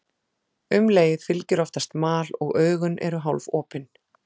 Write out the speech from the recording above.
Um leið fylgir oftast mal og augun eru hálfopin.